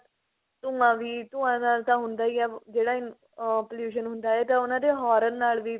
ਧੁੰਆਂ ਵੀ ਧੁੰਏ ਨਾਲ ਤਾਂ ਹੁੰਦਾ ਹੀ ਏ ਜਿਹੜਾ ah pollution ਹੁੰਦਾ ਹੈ ਇਹ ਤਾ ਉਹਨਾ ਦੇ horn ਨਾਲ ਵੀ